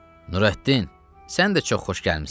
Nurəddin, sən də çox xoş gəlmisən.